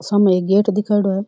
साम एक गेट दिखाएडा है।